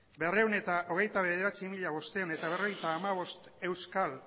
berrehun eta hogeita bederatzi mila bostehun eta berrogeita hamabost euskal